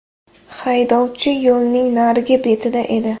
Haydovchi yo‘lning narigi betida edi.